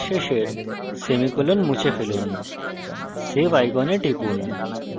এখন স্টেটমেন্টের শেষের semicolon মুছে ফেলুন